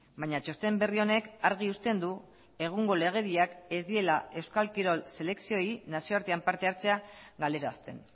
baina txosten berri honek argi uzten du egungo legediak ez diela euskal kirol selekzioei nazioartean parte hartzea galarazten